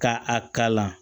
Ka a kalan